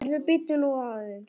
Heyrðu, bíddu nú aðeins!